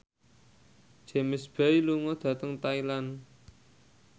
James Bay lunga dhateng Thailand